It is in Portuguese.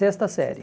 Sexta série.